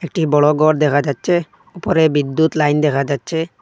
একটি বড়ো গর দেখা যাচ্ছে উপরে বিদ্যুৎ লাইন দেখা যাচ্ছে।